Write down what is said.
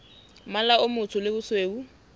mmala o motsho le bosweu